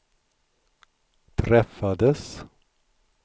träffades